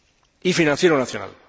y financiero nacional.